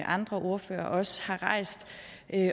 andre ordførere også har rejst